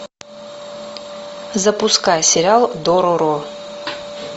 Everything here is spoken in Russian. запускай сериал дороро